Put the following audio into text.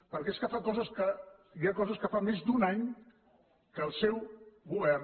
perquè és que hi ha coses que fa més d’un any que el seu govern